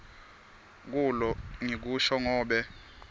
loku ngikusho ngobe